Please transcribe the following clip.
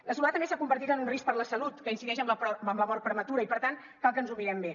la soledat a més s’ha convertit en un risc per a la salut que incideix en la mort prematura i per tant cal que ens ho mirem bé